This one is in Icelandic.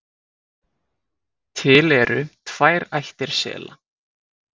til eru tvær ættir sela